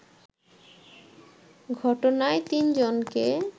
ঘটনায় তিনজনকে